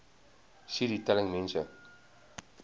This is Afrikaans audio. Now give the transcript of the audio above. cd telling mense